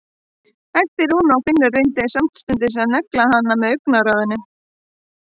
æpti Rúna og Finnur reyndi samstundis að negla hana með augnaráðinu.